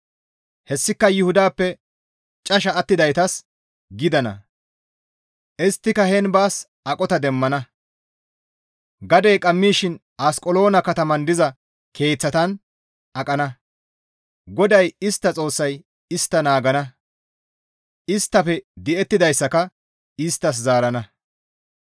Hessika Yuhudappe casha attidaytas gidana; isttika heen baas aqota demmana; Gadey qammishin Asqeloona kataman diza keeththatan aqana; GODAY istta Xoossay istta naagana; isttafe di7ettidayssaka isttas zaarana.»